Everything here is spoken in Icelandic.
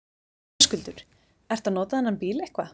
Höskuldur: Ertu að nota þennan bíl eitthvað?